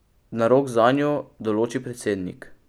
Narok zanjo določi predsednik.